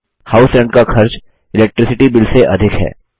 house rent का खर्च electricity bill से अधिक है